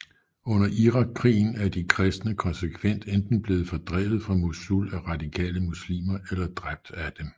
Under Irakkrigen er de kristne konsekvent enten blevet fordrevet fra Mosul af radikale muslimer eller dræbt af dem